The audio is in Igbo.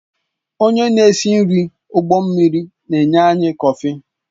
Onye na-esi nri ụgbọ mmiri na-enye anyị kọfị